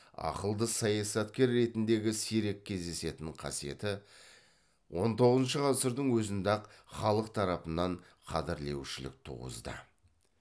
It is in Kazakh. ақылды саясаткер ретіндегі сирек кездесетін қасиеті он тоғызыншы ғасырдың өзінде ақ халық тарапынан қадірлеушілік туғызды